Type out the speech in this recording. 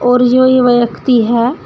और जो यह व्यक्ति है।